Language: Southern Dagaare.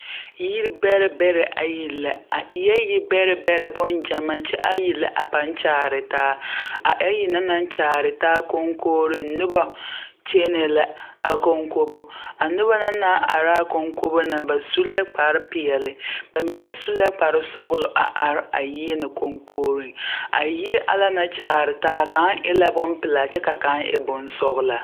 Yirbɛrɛbɛrɛ ayi la a eɛɛ yibɛrɛbɛrɛ bon ɡyamaaa kyɛ ayi la a pãã kyaare taa a ayi na na kyaare taa koŋkoore noba kyɛnɛ la a koŋkobo noba na na ara a koŋkobo na ba su la kparpeɛle ba mine su la kparsɔɡelɔ a are a yie na koŋkooreŋ a yie ana na naŋ kyaare taa kaŋa eɛ bompelaa kyɛ ka kaŋ e bonsɔɡelaa.